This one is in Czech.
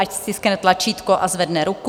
Ať stiskne tlačítko a zvedne ruku.